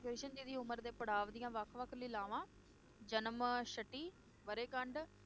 ਕ੍ਰਿਸ਼ਨ ਜੀ ਦੀ ਉਮਰ ਦੇ ਪੜਾਵ ਦੀਆਂ ਵੱਖ ਵੱਖ ਲੀਲਾਵਾਂ, ਜਨ੍ਮਸ਼ਟੀ, ਵਰੇਕੰਡ